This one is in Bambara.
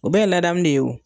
U bɛ ye ladamu de ye o.